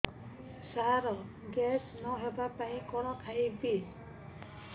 ସାର gas ନ ହେବା ପାଇଁ କଣ ଖାଇବା ଖାଇବି